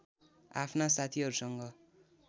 आफ्ना साथीहरूसँग